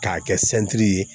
K'a kɛ sɛti ye